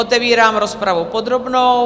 Otevírám rozpravu podrobnou.